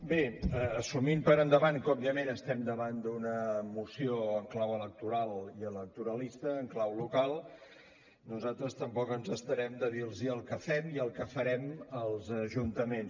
bé assumint per endavant que òbviament estem davant d’una moció en clau electoral i electoralista en clau local nosaltres tampoc ens estarem de dir los el que fem i el que farem als ajuntaments